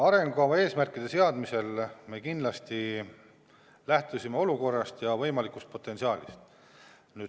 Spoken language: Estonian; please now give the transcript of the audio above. Arengukava eesmärkide seadmisel me kindlasti lähtusime olukorrast ja võimalikust potentsiaalist.